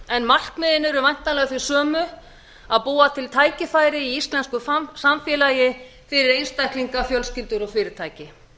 en markmiðin eru væntanlega þau sömu að búa til tækifæri í íslensku samfélagi fyrir einstaklinga fjölskyldur og fyrirtæki